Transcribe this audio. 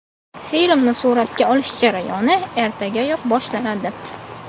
Filmni suratga olish jarayoni ertagayoq boshlanadi.